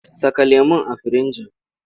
Saka lemon a firinji!